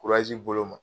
bolo ma